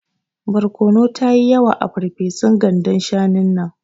Barkono tayi yawa a ferfesun gandan shanun nan.